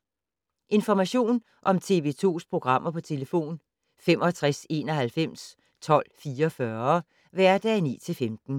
Information om TV 2's programmer: 65 91 12 44, hverdage 9-15.